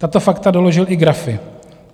Tato fakta doložil i grafy.